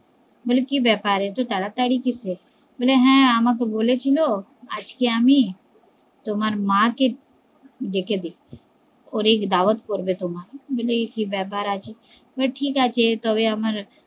বলে কি ব্যাপার এত তাড়াতাড়ি কিসের বলে হ্যা আমাকে বলেছিলো আজকে আমি তোমার মা কে ডেকে দিচ্ছি অনেক দাওয়াত করবে তো, বলে কি ব্যাপার আছে বলে ঠিকাছে তবে আমার